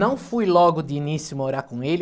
Não fui logo de início morar com ele.